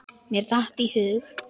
Mér datt í hug.